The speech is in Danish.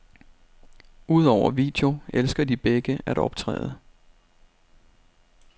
Udover video elsker de begge at optræde.